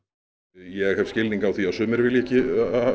ég hef skilning á því að sumir vilji ekki